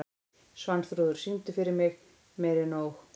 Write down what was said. Svanþrúður, syngdu fyrir mig „Meira En Nóg“.